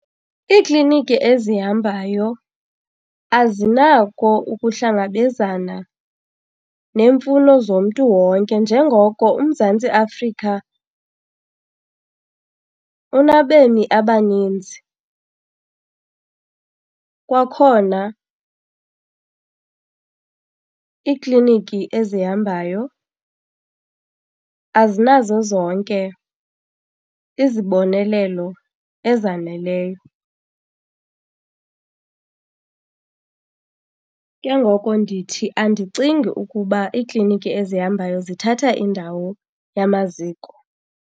Iikliniki ezihambayo azinako ukuhlangabezana neemfuno zomntu wonke njengoko uMzantsi Afrika unabemi abaninzi. Kwakhona iikliniki ezihambayo azinazo zonke izibonelelo ezaneleyo. Ke ngoko ndithi andicingi ukuba iikliniki ezihambayo zithatha indawo yamaziko.